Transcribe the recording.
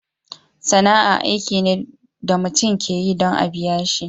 Sana'a aiki ne da mutum ka yi dan a'biya shi.